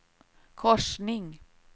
korsning